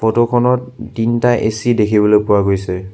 Photo খনত তিনটা AC দেখিবলৈ পোৱা গৈছে।